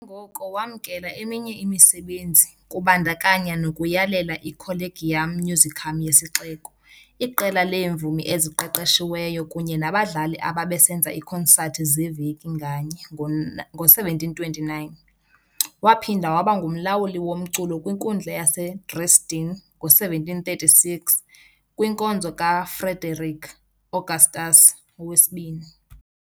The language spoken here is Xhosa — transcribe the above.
Ngoko, wamkela eminye imisebenzi, kubandakanya nokuyalela i-Collegium Musicum yesixeko, iqela leemvumi eziqeqeshiweyo kunye nabadlali ababesenza iikonsathi zeveki nganye, ngo-1729. Waphinda waba ngumlawuli womculo kwiNkundla yaseDresden ngo-1736, kwinkonzo kaFrederick Augustus II.